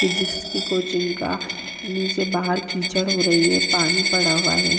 Physics की coaching का नीचे बाहर कीचड़ हो रही है पानी पड़ा हुआ है।